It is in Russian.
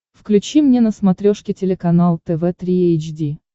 включи мне на смотрешке телеканал тв три эйч ди